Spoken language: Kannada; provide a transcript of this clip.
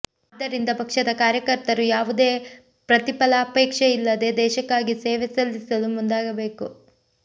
ಆದ್ದರಿಂದ ಪಕ್ಷದ ಕಾರ್ಯಕರ್ತರು ಯಾವುದೇ ಪ್ರತಿಫಲಾಪೇಕ್ಷೆಯಿಲ್ಲದೆ ದೇಶಕ್ಕಾಗಿ ಸೇವೆ ಸಲ್ಲಿಸಲು ಮುಂದಾಗಬೇಕು